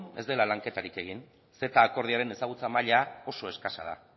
ez dela lanketarik egin ceta akordioaren ezagutza maila oso eskasa da